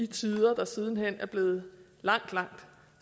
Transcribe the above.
tider der siden hen er blevet langt langt